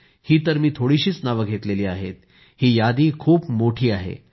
आता तर मी थोडीशीच नावं घेतली आहेत ही यादी खूप मोठी आहे